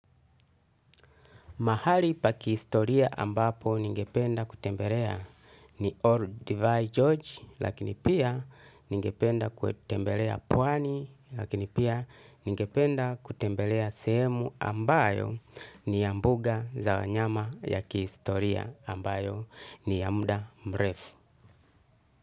Mahali pa kihistoria ambapo ningependa kutembelea ni Ordevae George lakini pia ningependa kutembelea pwani lakini pia ningependa kutembelea sehemu ambayo ni ya mbuga za wanyama ya kihistoria ambayo ni ya muda mrefu.